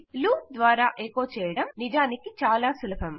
loop ద్వారా echo చేయడం నిజానికి చాలా సులభం